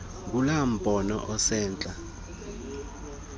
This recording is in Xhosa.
ngulaa mbono usentla